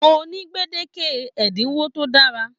Mo ni gbedeke ẹdinwo to dára.